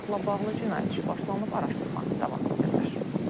Faktla bağlı cinayət işi başlanılıb, araşdırma davam etdirilir.